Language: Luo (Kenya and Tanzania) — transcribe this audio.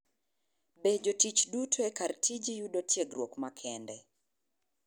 Be jotich duto e kar tiji yudo tiegruok makende?